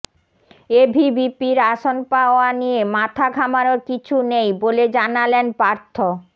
এভিবিপির আসন পাওয়া নিয়ে মাথা ঘামানোর কিছু নেই বলে জানালেন পার্থ